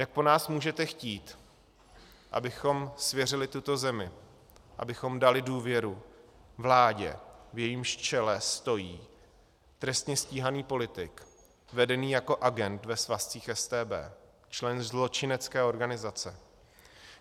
Jak po nás můžete chtít, abychom svěřili tuto zemi, abychom dali důvěru vládě, v jejímž čele stojí trestně stíhaný politik vedený jako agent ve svazcích StB, člen zločinecké organizace?